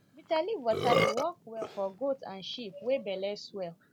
bitter leaf water dey work well for goat and sheep wey belly swell